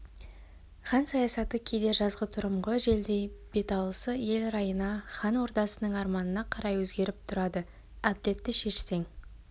хан саясаты кейде жазғытұрымғы желдей беталысы ел райына хан ордасының арманына қарай өзгеріп тұрады әділетті шешсең